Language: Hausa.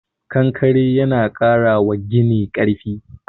Konkare yana ƙara wa gini karfi